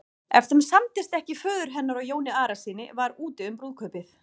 Ef þeim samdist ekki föður hennar og Jóni Arasyni var úti um brúðkaupið.